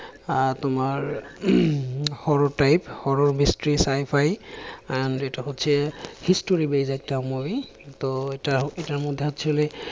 আহ তোমার horror type horror mystery sci fi আহ যেটা হচ্ছে history base একটা movie তো এটা এটা এটার মধ্যে actually